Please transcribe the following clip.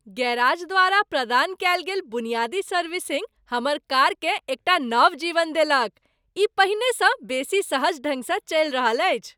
Garage द्वारा प्रदान कएल गेल बुनियादी सर्विसिंग हमर कारकेँ एकटा नव जीवन देलक, ई पहिनेसँ बेसी सहज ढंग स चलि रहल अछि!